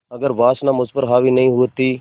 अगर वासना मुझ पर हावी नहीं हुई होती